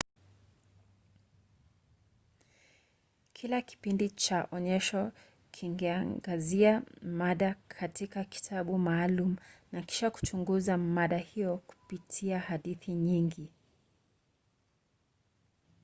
kila kipindi cha onyesho kingeangazia mada katika kitabu maalum na kisha kuchunguza mada hiyo kupitia hadithi nyingi